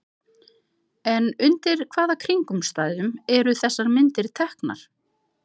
En undir hvaða kringumstæðum eru þessar myndir teknar?